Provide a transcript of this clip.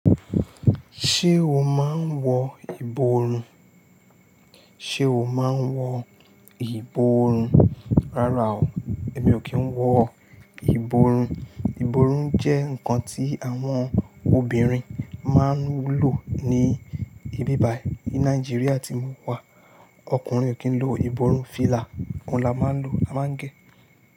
Ṣé o máa ń wọ ìborùn? Ṣé o máa ń wọ ìborùn? Rárá o, èmi ò kí ń wọ ìborùn. Ìborùn jẹ́ ǹkan tí àwọn obìnrin máa ń lò ní ibí bài. Ní Nàìjíríà tí mo wà, ọkùnrin ò kí ń lo ìborùn. Fìlà kò la máa ń lò, a máa ń gẹ́